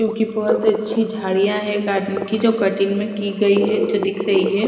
क्यूंकि बहोत अच्छी झाड़ियाँ है गार्डन की जो कटिंग में की गयी है जो दिख रही है ।